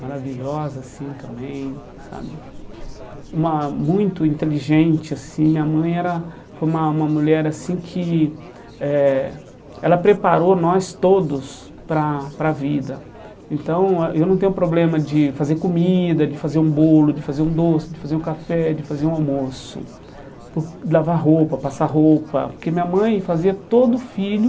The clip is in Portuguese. maravilhosa assim também sabe uma muito inteligente assim, minha mãe era foi uma uma mulher assim que eh ela preparou nós todos para a para a vida então ah eu não tenho problema de fazer comida, de fazer um bolo, de fazer um doce, de fazer um café, de fazer um almoço de lavar roupa, passar roupa, porque minha mãe fazia todo filho